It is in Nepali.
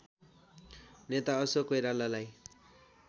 नेता अशोक कोइरालालाई